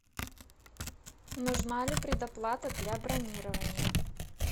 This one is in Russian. нужна ли предоплата для бронирования